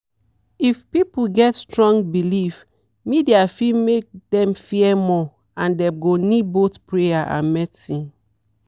if people get strong belief media fit make dem fear more and dem go need both prayer and medicine.